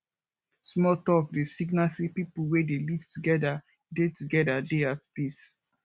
small talk dey signal sey pipo wey dey live together dey together dey at peace